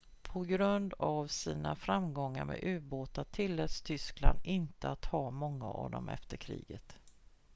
på grund av sina framgångar med ubåtar tilläts tyskland inte att ha många av dem efter kriget